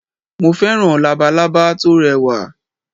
Mo féràn Labalábá tórẹ wà